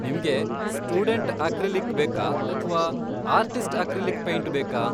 ನಿಮ್ಗೆ student acrylic ಬೇಕಾ ಅಥ್ವಾ ಆರ್ಟಿಸ್ಟ್ ಅಕ್ರಿಲಿಕ್ ಪೈಂಟ್ ಬೇಕಾ?